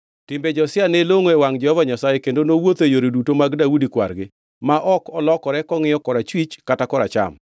Timbe Josia ne longʼo e wangʼ Jehova Nyasaye kendo nowuotho e yore duto mag Daudi kwar-gi, ma ok olokore kongʼiyo korachwich kata koracham.